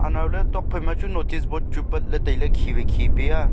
anao le tuakphai ma chu notice board chu pat le taile khi wai khi pe a.